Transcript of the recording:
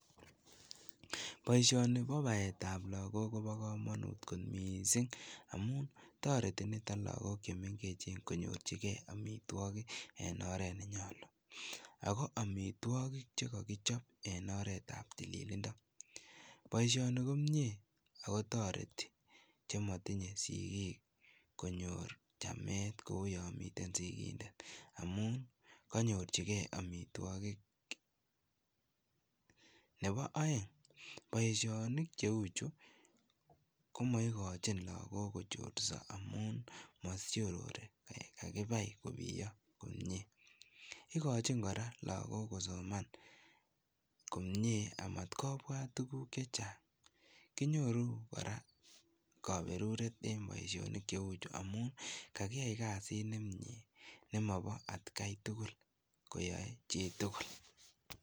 Boishoni bo baetab lokok kobokomonut kot mising amun toreti niton lokok chemeng'echen konyorchikee amitwokik en oreet nenyolu, ak ko amitwokik chekokichop en oretab tililindo, boishoni komnyee ak ko toreti chemotinye sikiik konyor chamet kouu yoon miten sikindet amuun konyorchikee amitwokik, nebo oeng boishonik cheuchu komoikochin lokok kochorso amun mosiorori yan kakibai kobiyo komnye, ikochin kora lokok kosoman komnye amat kobwat tukuk chechang, kinyoru kora koberuret en boishonik cheuchu amun kakiyai kasit nemnye nemobo atkai tukul koyoe chitukul.